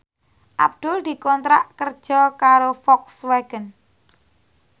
Abdul dikontrak kerja karo Volkswagen